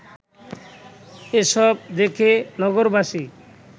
এসব দেখে নগরবাসী